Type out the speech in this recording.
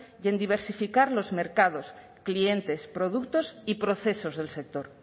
y en diversificar los mercados clientes productos y procesos del sector